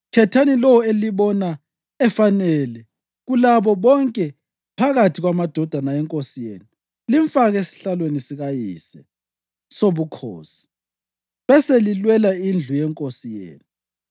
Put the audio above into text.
khethani lowo elimbona efanele kulabo bonke phakathi kwamadodana enkosi yenu limfake esihlalweni sikayise sobukhosi, beselilwela indlu yenkosi yenu.”